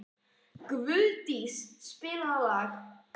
Guðdís, spilaðu lag.